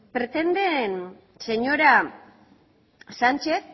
pretenden señora sánchez